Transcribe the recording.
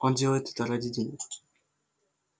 он делает это ради денег